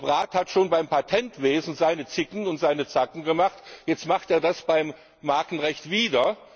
Der Rat hat schon beim Patentwesen seine Zicken und seine Zacken gemacht, jetzt macht er das beim Markenrecht wieder.